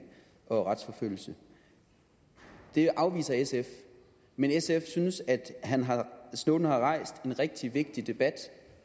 og retsforfølgelse det afviser sf men sf synes at snowden har rejst en rigtig vigtig debat